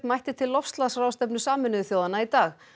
mætti til loftslagsráðstefnu Sameinuðu þjóðanna í dag